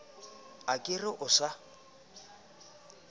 a ka re o sa